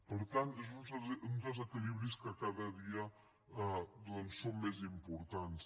per tant uns desequilibris que cada dia són més importants